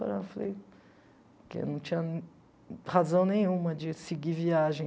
Eu falei que eu não tinha razão nenhuma de seguir viagem.